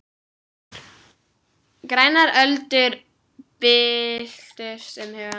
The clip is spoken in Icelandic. Grænar öldur byltust um hugann.